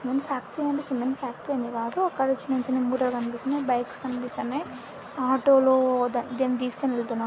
Cement factory అంటే cement factory అని కాదు అక్కడ చిన్న చిన్న మూటలు కనిపిస్తున్నాయి బైక్స్ కనిపిస్తున్నాయి ఆటో లో ద-దీన్ని తీసుకోని వెళ్తున్నారు.